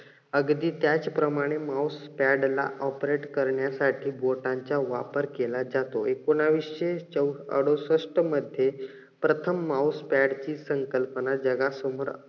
अगदी त्याच प्रमाणे mouse pad ला operate करण्यासाठी बोटांचा वापर केला जातो. एकोणवीसशे चोऊ अडुसष्ट मध्ये प्रथम mouse pad ची संकल्पना जगासमोर